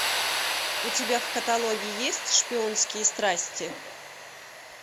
у тебя в каталоге есть шпионские страсти